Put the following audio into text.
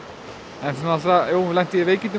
en svo lenti ég í veikindum